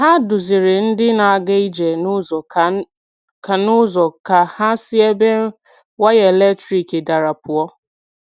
Hà duzìrì̀ ndị na-aga ije n’ụzọ ka n’ụzọ ka hà si ebe waya eletrik darà pụọ̀.